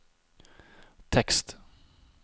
tekst